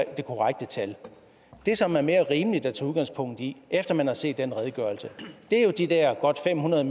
er det korrekte tal det som er mere rimeligt at tage udgangspunkt i efter at man har set den redegørelse er de der godt fem hundrede